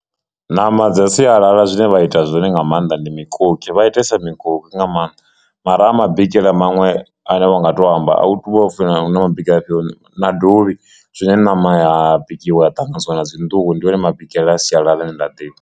Ṋama dza sialala zwine vha ita zwone nga maanḓa ndi mukoki vha itesa mikoki nga maanḓa mara ha mabikele maṅwe are vha nga to amba a hu tu vha upfhi hu na mabikele afhio na dovhi zwine ṋama ya bikiwa ṱanganyisiwa na dzi nḓuhu ndi one mabikele a sialala ane nda ḓivha.